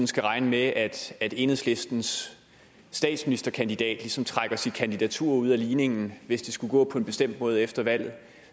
skal regne med at enhedslistens statsministerkandidat ligesom trækker sit kandidatur ud af ligningen hvis det skulle gå på en bestemt måde efter valget